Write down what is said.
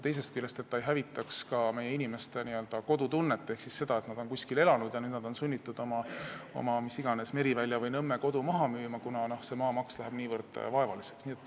Teisest küljest ei tohi hävitada ka nende inimeste kodutunnet, kes on sunnitud oma Merivälja või Nõmme kodu maha müüma, kuna maamaks läheb niivõrd suureks.